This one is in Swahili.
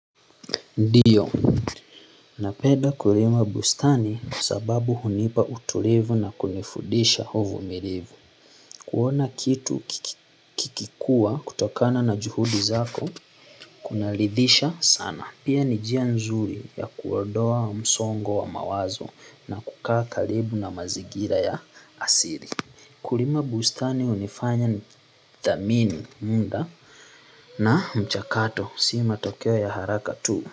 Ndiyo, napeda kulima bustani sababu hunipa utulivu na kunifudisha uvumilivu. Kuona kitu kikikua kutokana na juhudi zako, kunaridhisha sana. Pia ni njia nzuri ya kuodoa msongo wa mawazo na kukaa karibu na mazigira ya asili. Kulima bustani hunifanya nithamini muda na mchakato, si matokeo ya haraka tu.